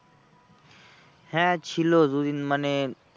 হ্যাঁ ছিল দুদিন মানে,